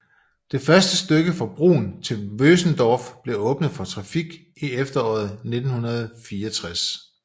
Det første stykke fra Brunn til Vösendorf blev åbnet for trafik i efteråret 1964